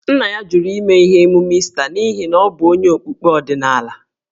Nna ya jụrụ ime emume Ista n’ihi na ọ bụ onye okpukpe ọdịnala.